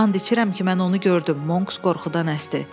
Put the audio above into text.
And içirəm ki, mən onu gördüm, Monks qorxudan əsdi.